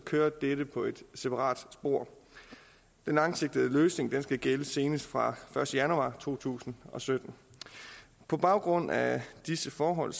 kører dette på et separat spor den langsigtede løsning skal gælde senest fra første januar to tusind og sytten på baggrund af disse forhold